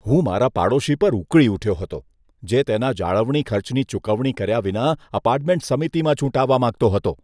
હું મારા પાડોશી પર ઉકળી ઉઠ્યો હતો, જે તેના જાળવણી ખર્ચની ચૂકવણી કર્યા વિના અપાર્ટમેન્ટ સમિતિમાં ચૂંટાવા માંગતો હતો.